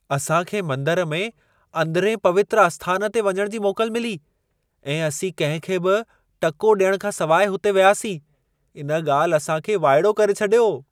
असां खे मंदर में अंदिरिएं पवित्रु आस्थान ते वञण जी मोकल मिली ऐं असीं कंहिं खे बि टको ॾियण खां सवाइ हुते वियासीं। इन ॻाल्हि असां खे वाइड़ो करे छॾियो।